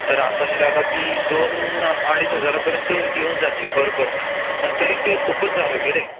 तर आपल्याला ती दोन अडीच हजारापर्यंत येऊन जाती पर पर्सन पण तरी ते खूपच झालं कि रे